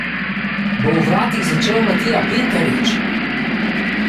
Bo v vratih začel Matija Pintarič?